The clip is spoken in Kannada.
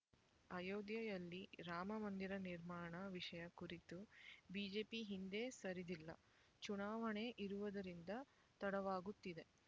ಅಯೋಧ್ಯೆಯಲ್ಲಿ ರಾಮಮಂದಿರ ನಿರ್ಮಾಣ ವಿಷಯ ಕುರಿತು ಬಿಜೆಪಿ ಹಿಂದೆ ಸರಿದಿಲ್ಲ ಚುನಾವಣೆ ಇರುವುದರಿಂದ ತಡವಾಗುತ್ತಿದೆ